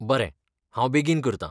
बरें, हांव बेगीन करतां .